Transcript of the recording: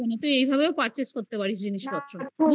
তো এইভাবেও perchase করতে পারিস জিনিসপত্র.বুঝলি